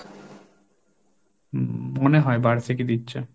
হম মনে হয় বার্ষিকী দিচ্ছে।